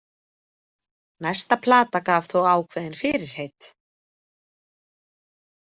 Næsta plata gaf þó ákveðin fyrirheit.